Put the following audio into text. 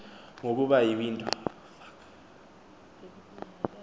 ngokuba yi window